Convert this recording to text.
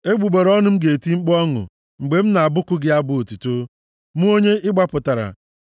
Egbugbere ọnụ m ga-eti mkpu ọṅụ mgbe m na-abụku gị abụ otuto, mụ, onye ị gbapụtara.